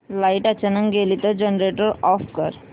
light अचानक गेली तर जनरेटर ऑफ कर